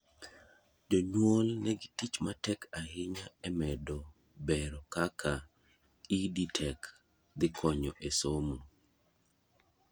jonyuol ne gi tich matek ahinya e medo bero kaka EdTech dhikonyo e somo